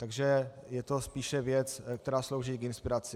Takže je to spíše věc, která slouží k inspiraci.